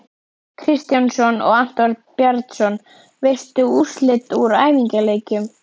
Kristjánsson og Anton Bjarnason.Veistu úrslit úr æfingaleikjum?